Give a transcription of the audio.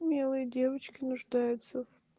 милые девочки нуждаются